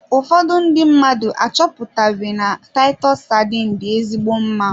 Ụfọdụ ndị mmadụ achọpụtabe na titus sardines dị ezigbo mma.